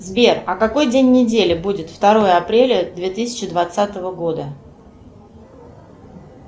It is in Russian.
сбер а какой день недели будет второе апреля две тысячи двадцатого года